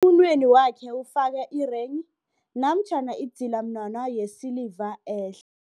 Emunweni wakhe ufake irenghi namtjhana idzilamunwana yesiliva ehle.